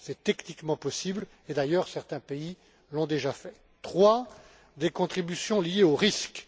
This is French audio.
C'est techniquement possible et, d'ailleurs, certains pays l'ont déjà fait. Troisièmement, des contributions liées aux risques.